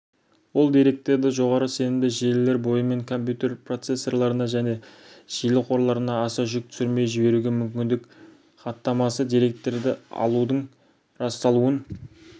ол деректерді жоғары сенімді желілер бойымен компьютер процессорларына және желі қорларына аса жүк түсірмей жіберуге мүмкіндік хаттамасы деректер алудың расталуын